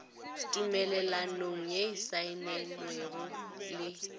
tumelelanong ye e saenilwego le